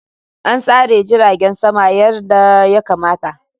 An tsara jiragen sama yadda ya kamata.